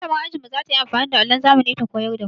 Mallamar mu za ta yi amfani da allon zamani ta koyar da mu.